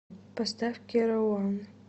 поставь керо ван